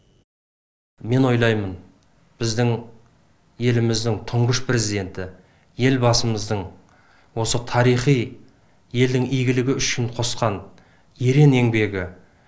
мен ойлаймын біздің еліміздің тұңғыш президенті елбасымыздың осы тарихи елдің игілігі үшін қосқан ерен еңбегі